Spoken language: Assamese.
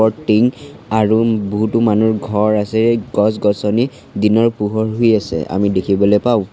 টিং আৰু বহুতো মানুহৰ ঘৰ আছে গছ-গছনি দিনৰ পোহৰ হৈ আছে আমি দেখিবলৈ পাওঁ।